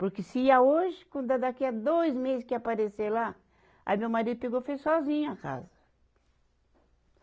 Porque se ia hoje, quando é daqui a dois meses que ia aparecer lá, aí meu marido pegou e fez sozinho a casa.